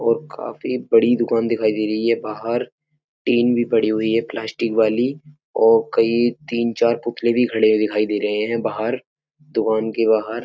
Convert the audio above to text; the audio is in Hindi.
और काफी बड़ी दुकान दिखाई दे रही है बाहर। टीन भी पड़ी हुई है प्लास्टिक वाली और कई तीन-चार पुतले भी खड़े हुए दिखाई दे रहे हैं बाहर। दुकान के बाहर --